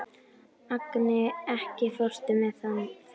Agni, ekki fórstu með þeim?